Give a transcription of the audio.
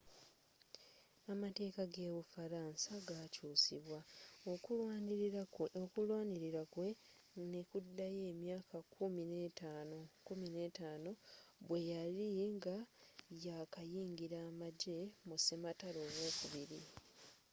amateka ge bu faransa gakyusibwa okulwanilila kwe nekudayo emyaka kkumi n'etaano 15 bweyali nga yakayingila amagye mu sematalo owokubiri